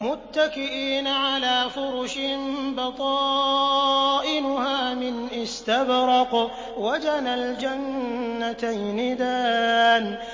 مُتَّكِئِينَ عَلَىٰ فُرُشٍ بَطَائِنُهَا مِنْ إِسْتَبْرَقٍ ۚ وَجَنَى الْجَنَّتَيْنِ دَانٍ